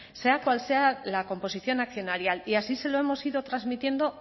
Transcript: sea cual sea la composición accionarial y así se lo hemos ido transmitiendo